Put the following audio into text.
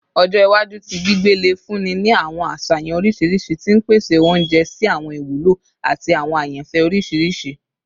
Ọjọ iwaju ti gbigbe le funni ni awọn aṣayan oriṣiriṣi ti n pese ounjẹ si awọn iwulo ati awọn ayanfẹ oriṣiriṣi